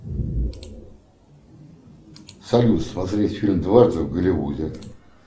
салют смотреть фильм однажды в голливуде